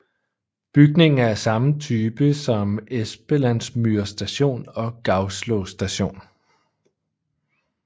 Bygningen er af samme type som på Espelandsmyr Station og Gauslå Station